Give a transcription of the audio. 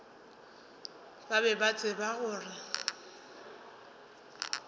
ba be ba tseba gore